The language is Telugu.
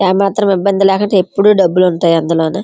ఏ మాత్రం ఇబ్బంది లేకుంటా ఎప్పుడూ డబ్బులుంటాయి అందులోన --